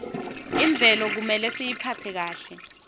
imvelo kumele siyiphatse kahle